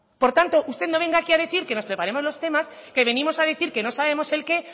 por tanto usted no venga aquí a decir que nos preparemos los temas que venimos a decir que no sabemos el qué